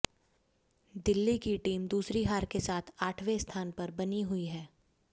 दिल्ली की टीम दूसरी हार के साथ आठवें स्थान पर ही बनी हुई है